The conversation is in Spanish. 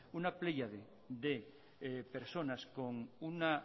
una pléyade de personas con un